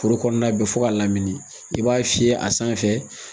Foro kɔnɔna bɛɛ fɔ ka lamini i b'a fiyɛ a sanfɛ